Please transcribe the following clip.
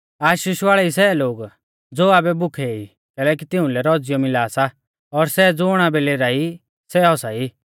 आशीष वाल़ै ई सै लोग ज़ो आबै भुखै ई कैलैकि तिउंलै रौज़ीयौ मिला सा और सै ज़ुण आबै लेराई सै हसा ई